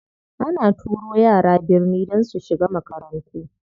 Ana turo yara birni don su shiga makarantu.